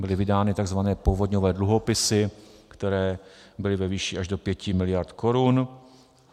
Byly vydány tzv. povodňové dluhopisy, které byly ve výši až do 5 mld. korun.